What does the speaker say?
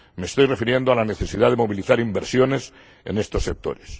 Me estoy refiriendo a la necesidad de movilizar inversiones en estos sectores.